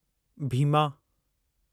Bhim